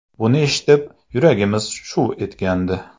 Buni eshitib, yuragimiz shuv etgandi.